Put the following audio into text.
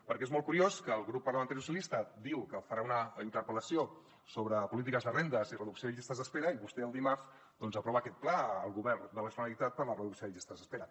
perquè és molt curiós que el grup parlamentari socialistes diu que farà una interpel·lació sobre polítiques de rendes i reducció de llistes d’espera i vostè el dimarts doncs aprova aquest pla al govern de la generalitat per a la reducció de llistes d’espera